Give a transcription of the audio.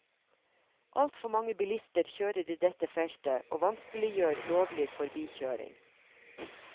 Altfor mange bilister kjører i dette feltet og vanskeliggjør lovlig forbikjøring.